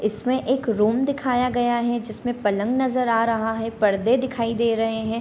इसमें एक रूम दिखाया गया है जिसमें पलंग नज़र आ रहा है परदे दिखाई दे रहे है।